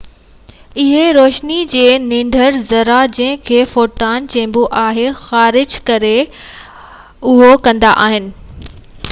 اهي روشني جي ننڍڙا ذرا جنهن کي فوٽان چئبو آهي خارج ڪري اهو ڪندا آهن